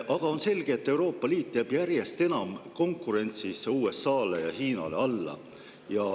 Aga on selge, et Euroopa Liit jääb järjest enam konkurentsis alla USA‑le ja Hiinale.